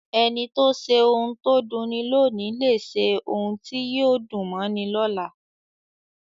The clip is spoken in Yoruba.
Ẹni tó ṣe ohun tó dunni lóòní lè ṣe ohun tí yóò dùn mọ́ni lọ́la.